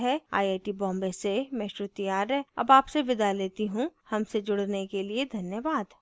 यह स्क्रिप्ट प्रभाकर द्वारा अनुवादित है आई आई टी बॉम्बे से मैं श्रुति आर्य अब आपसे विदा लेती हूँ हमसे जुड़ने के लिए धन्यवाद